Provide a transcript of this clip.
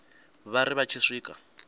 vha ri vha tshi swika